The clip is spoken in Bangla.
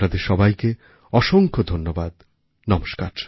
আপনাদের সবাইকে অসংখ্য ধন্যবাদ নমস্কার